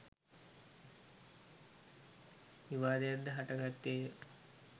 විවාදයක් ද හටගත්තේ ය.